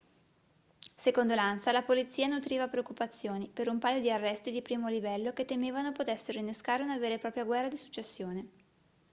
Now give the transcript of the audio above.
secondo l'ansa la polizia nutriva preoccupazioni per un paio di arresti di primo livello che temevano potessero innescare una vera e propria guerra di successione